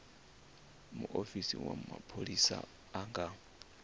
muofisi wa mapholisa a nga